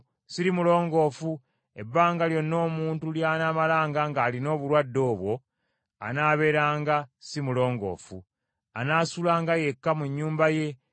Ebbanga lyonna omuntu ly’anaamalanga ng’alina obulwadde obwo anaabeeranga si mulongoofu. Anaasulanga yekka mu nnyumba ye ebweru w’olusiisira.